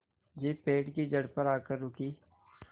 jeep पेड़ की जड़ पर आकर रुकी